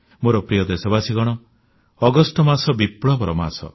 ମୋର ପ୍ରିୟ ଦେଶବାସୀଗଣ ଅଗଷ୍ଟ ମାସ ବିପ୍ଲବର ମାସ